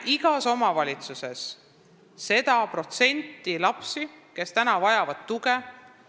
Igas omavalitsuses on teatud hulk lapsi, kes vajavad tuge.